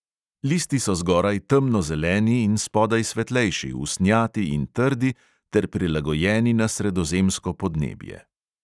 Listi so zgoraj temnozeleni in spodaj svetlejši, usnjati in trdi ter prilagojeni na sredozemsko podnebje.